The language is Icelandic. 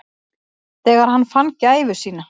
Þegar hann fann gæfu sína.